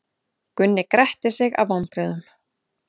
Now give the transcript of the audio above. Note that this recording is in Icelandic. Gunni gretti sig af vonbrigðum.